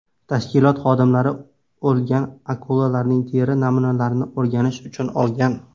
Tashkilot xodimlari o‘lgan akulalarning teri namunalarini o‘rganish uchun olgan.